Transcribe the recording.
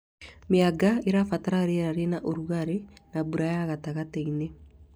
Mĩanga ĩbataraga rĩera rĩna rũgarĩ na mbura ya gatagatĩ-inĩ